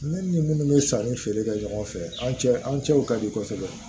Ne ni minnu bɛ sanni feere kɛ ɲɔgɔn fɛ an cɛ an cɛw ka di kɔsɛbɛ